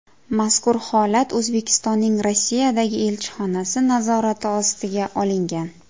Mazkur holat O‘zbekistonning Rossiyadagi elchixonasi nazorati ostiga olingan.